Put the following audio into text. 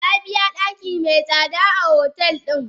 Nabiya daki mai tsada a hotel din.